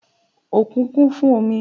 òkun kún fún omi